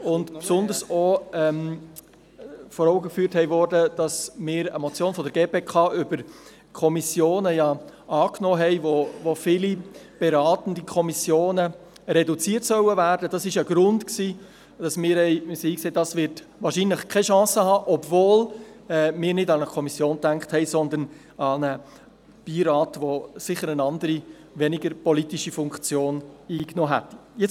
Insbesondere wurde vor Augen geführt, dass wir eine Motion der GPK über die Fachkommissionen angenommen haben, gemäss welcher die beratenden Kommissionen reduziert werden sollen Dies war ein Grund dafür, dass wir zur Einsicht kamen, dass diese Idee wahrscheinlich keine Chance haben wird, obwohl wir eigentlich nicht an eine Kommission gedacht haben, sondern an einen Beirat, der eine andere, weniger politische Funktion eingenommen hätte.